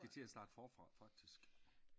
Så skal i til at starte forfra faktisk